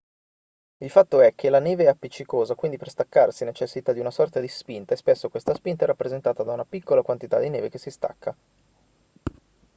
il fatto è che la neve è appiccicosa quindi per staccarsi necessita di una sorta di spinta e spesso questa spinta è rappresentata da una piccola quantità di neve che si stacca